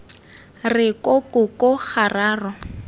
re ko ko ko gararo